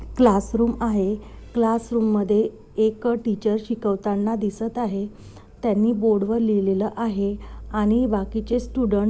class room आहे classroom मधे एक टीचर शिकवताना दिसत आहे त्यानीं बोर्ड वर लिहिलेल आहे आणि बाकीचे स्टूडेंट --